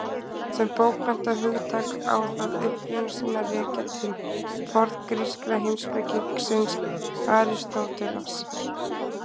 Sem bókmenntahugtak á það uppruna sinn að rekja til forngríska heimspekingsins Aristótelesar.